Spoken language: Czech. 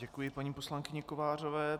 Děkuji paní poslankyni Kovářové.